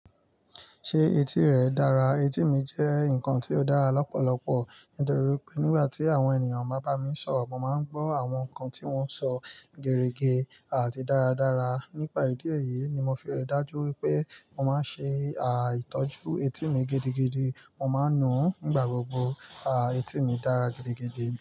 Ṣé etí rẹ dára? Etí mi jẹ́ nǹkan tí ó dára lọ́pọ̀lọpọ̀, nítorí pé nígbà tí àwọn ènìyàn bá bá mi sọ̀rọ̀, mo máa ń gbọ́ àwọn nǹkan tí wọ́n ń sọ gẹrẹgẹ àti dáradára. Nípa ìdí èyí ni mo fi rẹ̀ dájú wípé mo máa ń ṣe à ìtọ́jú etí mi gidigidi. Mo máa ń nu ú nígbà gbogbo. À, etí mi dára gidigidi.